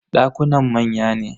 Dakunan manya ne.